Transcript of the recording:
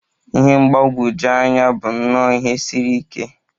Ihe mgbagwoju anya bụ nnọọ ihe siri ike.